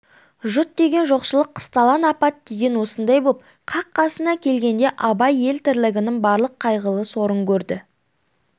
жұт деген жоқшылық қысталаң апат деген осындай боп қақ қасына келгенде абай ел тірлігінің барлық қайғылы сорын көрді